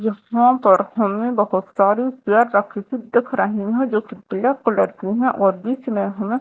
यहां पर हमें बहुत सारी प्यारी आकृति दिख रही हैं जो कि ब्लैक कलर की हैं और बीच में हमें--